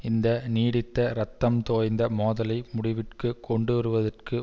இந்த நீடித்த இரத்தம் தோய்ந்த மோதலை முடிவிற்கு கொண்டுவருவதற்கு